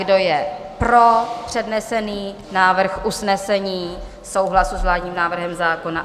Kdo je pro přednesený návrh usnesení, souhlas s vládním návrhem zákona?